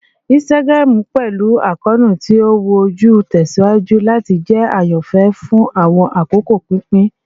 Instagram, pẹlu akoonu ti o wu oju, tẹsiwaju lati jẹ ayanfẹ fun awọn akoko pinpin